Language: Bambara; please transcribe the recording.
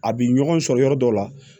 A bi ɲɔgɔn sɔrɔ yɔrɔ dɔw la